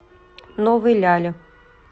новой ляли